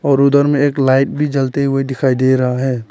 और उधर में एक लाइट भी जलते हुए दिखाई दे रहा है।